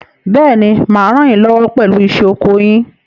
Bẹ́ẹ̀ni, mà á ràn yín lọ́wọ́ pẹ̀lú iṣẹ́ oko yín.